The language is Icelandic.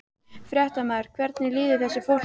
Fréttamaður: Hvernig líður þessu fólki?